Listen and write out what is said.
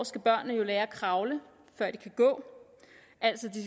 skal børnene jo lære at kravle før de kan gå altså